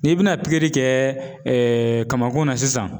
N'i bɛna pikiri kɛ kamakun na sisan